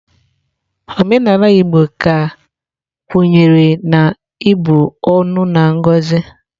Omenala Igbo ka kwenyere na ịbu ọnụ na ngozi.